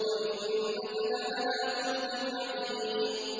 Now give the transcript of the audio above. وَإِنَّكَ لَعَلَىٰ خُلُقٍ عَظِيمٍ